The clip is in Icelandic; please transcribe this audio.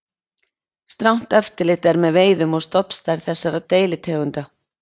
Strangt eftirlit er með veiðum og stofnstærð þessara deilitegunda.